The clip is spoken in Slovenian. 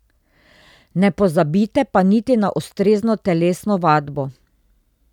Ne pozabite pa niti na ustrezno telesno vadbo.